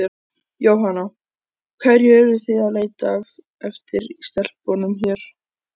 Jóhanna: Hverju eruð þið að leita eftir í stelpunum hérna?